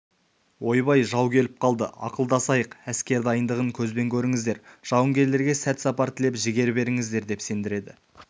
ойбай жау келіп қалды ақылдасайық әскер дайындығын көзбен көріңіздер жауынгерлерге сәт сапар тілеп жігер беріңіздер деп сендіреді